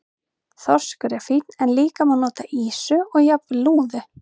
Þorskur er fínn en líka má nota ýsu og jafnvel lúðu.